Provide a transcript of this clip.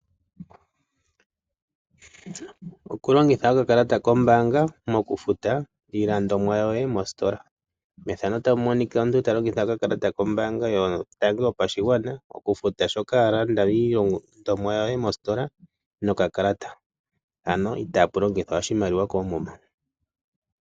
Okulongitha okakalata kombaanga mokufuta iilandomwa yoye mositola. Omuntu oto vulu okulongitha okakalata koye kombaanga yotango wufute iilandomwa yoye mostola kehe ano itaapu longithwa iimaliwa koomuma.